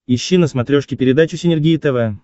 ищи на смотрешке передачу синергия тв